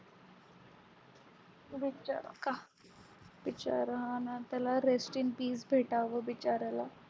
बिचारा का बिचारा हाना त्याला rest in peace भेटावं बिचार्याला